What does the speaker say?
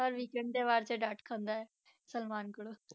ਹਰ weekend ਦੇ ਵਾਰ 'ਚ ਡਾਂਟ ਖਾਂਦਾ ਹੈ ਸਲਮਾਨ ਕੋਲੋਂ।